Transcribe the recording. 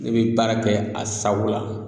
Ne be baara kɛ a sago la